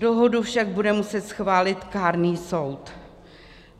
Dohodu však bude muset schválit kárný soud.